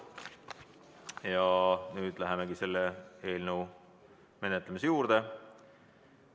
Ja nüüd lähemegi selle eelnõu menetlemise juurde.